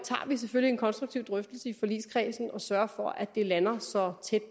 vi selvfølgelig en konstruktiv drøftelse i forligskredsen og sørger for at det lander så tæt